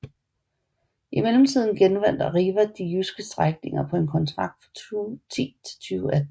I mellemtiden genvandt Arriva de jyske strækninger på en kontrakt fra 2010 til 2018